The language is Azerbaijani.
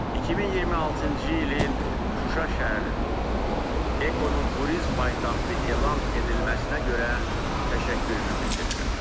2026-cı ilin Şuşa şəhərinin Ekonun turizm paytaxtı elan edilməsinə görə təşəkkürümü bildirirəm.